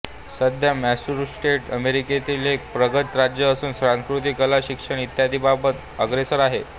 सध्या मॅसेच्युसेट्स अमेरिकेतील एक प्रगत राज्य असून संस्कृती कला शिक्षण इत्यादींबाबतीत अग्रेसर आहे